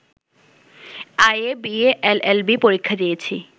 IA, BA, LLB পরীক্ষা দিয়েছি